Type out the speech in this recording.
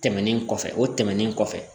Tɛmɛnen kɔfɛ o tɛmɛnen kɔfɛ